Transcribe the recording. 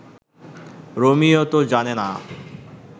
Romeo তো জানে না